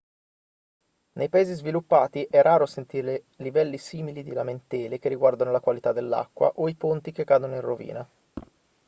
nei paesi sviluppati è raro sentire livelli simili di lamentele che riguardano la qualità dell'acqua o i ponti che cadono in rovina